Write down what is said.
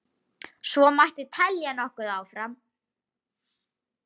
Svo mætti telja nokkuð áfram.